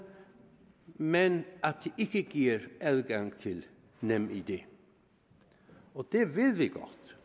men at de ikke giver adgang til nemid det ved